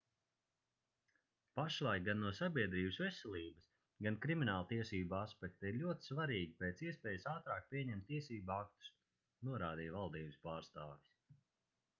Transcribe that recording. pašlaik gan no sabiedrības veselības gan krimināltiesību aspekta ir ļoti svarīgi pēc iespējas ātrāk pieņemt tiesību aktus norādīja valdības pārstāvis